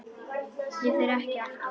Ég fer ekki aftur.